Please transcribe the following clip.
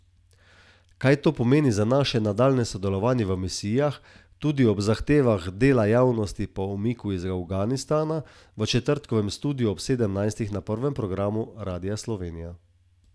Kaj to pomeni za naše nadaljnje sodelovanje v misijah, tudi ob zahtevah dela javnosti po umiku iz Afganistana, v četrtkovem Studiu ob sedemnajstih na prvem programu Radia Slovenija.